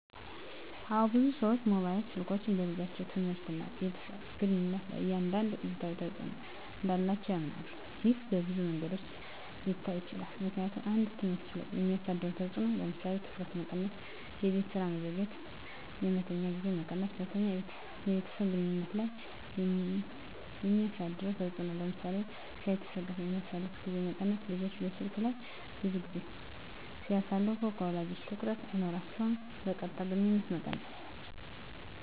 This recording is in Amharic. አዎ፣ ብዙ ሰዎች ሞባይል ስልኮች በልጆች ትምህርት እና ከቤተሰብ ግንኙነት ላይ አንዳንድ አሉታዊ ተጽዕኖ እንዳላቸው ያምናሉ። ይህ በብዙ መንገዶች ሊታይ ይችላል፦ ምክንያቱም 1. በትምህርት ላይ የሚያሳድረው ተጽዕኖ ለምሳሌ:- ትኩረት መቀነስ -የቤት ስራ መዘግየት -የመተኛት ጊዜ መቀነስ 2. በቤተሰብ ግንኙነት ላይ የሚያሳድረው ተጽዕኖ ለምሳሌ :-ከቤተሰብ ጋር የሚያሳልፉት ጊዜ መቀነስ – ልጆች በስልክ ላይ ብዙ ጊዜ ሲያሳልፉ ከወላጆቻ ትኩረት አይኖራቸውም። -የቀጥታ ግንኙነት መቀነስ